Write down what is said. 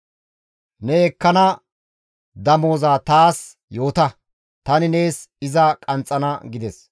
Ne ekkana damoza taas yoota; tani nees iza qanxxana» gides.